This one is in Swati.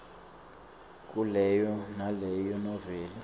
kuleyo naleyo noveli